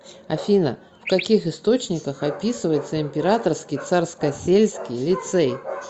афина в каких источниках описывается императорский царскосельский лицей